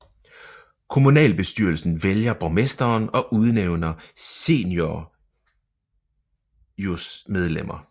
Kommunalbestyrelsen vælger borgmesteren og udnævner seniūnijosmedlemmer